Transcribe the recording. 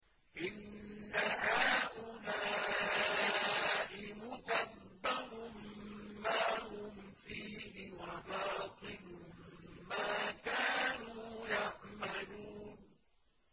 إِنَّ هَٰؤُلَاءِ مُتَبَّرٌ مَّا هُمْ فِيهِ وَبَاطِلٌ مَّا كَانُوا يَعْمَلُونَ